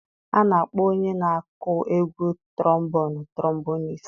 A na-akpọ onye na aku egwu trombonụ tromboniist.